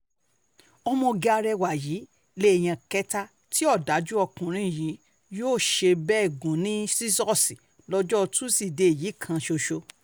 ọmọge arẹwà yìí lèèyàn kẹta tí ọ̀dájú ọkùnrin yìí yóò ṣe bẹ́ẹ̀ gùn ní ṣíṣọ́ọ̀ṣì lọ́jọ́ tọ́sídẹ̀ẹ́ yìí kan ṣoṣo